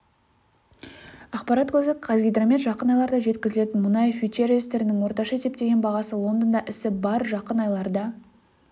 ақпарат көзі қазгидромет жақын айларда жеткізілетін мұнай фьючерстерінің орташа есептеген бағасы лондонда ісі барр жақын айларда